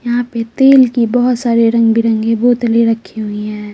यहाँ पे तेल की बहुत सारे रंग-बिरंगे बोतले रखी हुई है।